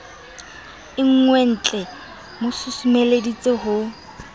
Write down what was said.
e nngweentlee mo susumeleditse ho